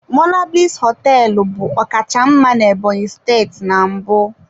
Monablis hoteelu bu ọkacha mma na Ebonyi steeti na mbụ.